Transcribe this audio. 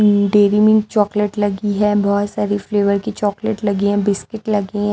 Dairy Milk chocolate लगी है बहुत सारी फ्लेवर की चॉकलेट लगी है बिस्किट लगे है।